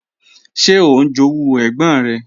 Ṣé ó ń jowú ẹ̀gbọ́n rẹ̀?